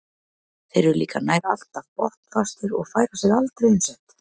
Þeir eru líka nær alltaf botnfastir og færa sig aldrei um set.